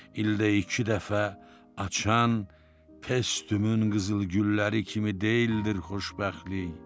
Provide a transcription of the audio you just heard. İldə iki dəfə açan testümün qızıl gülləri kimi deyildir xoşbəxtlik.